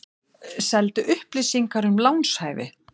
Seldi upplýsingar um lánshæfi